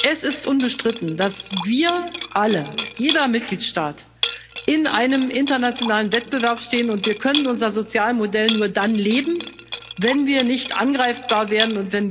Es ist unbestritten, dass wir alle, jeder Mitgliedstaat, in einem internationalen Wettbewerb stehen, und wir können unser Sozialmodell nur dann leben, wenn wir nicht angreifbar werden.